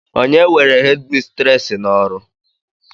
onye were hédmistrés n'ọrụ